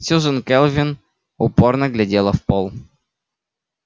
сьюзен кэлвин упорно глядела в пол